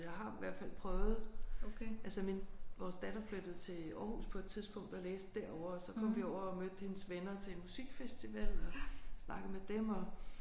Jeg har i hvert fald prøvet altså min vores datter flyttede til Aarhus på et tidspunkt og læste derovre og så kom vi over og mødte hendes venner til en musikfestival og snakkede med dem og